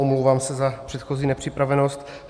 Omlouvám se za předchozí nepřipravenost.